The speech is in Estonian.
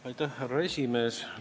Aitäh, härra esimees!